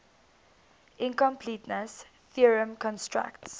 incompleteness theorem constructs